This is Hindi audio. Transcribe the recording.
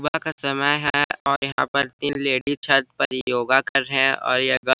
सुबह का समय है और यहाँ पे तीन लेडीज छत पर योगा कर रहे है और ये--